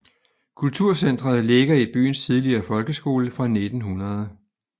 Kulturcentret ligger i byens tidligere folkeskole fra 1900